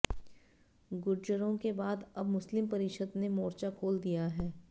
गुर्जरों के बाद अब मुस्लिम परिषद ने र्मोचा खोल दिया है